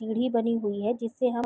सीढ़ी बनी हुई है जिससे हम--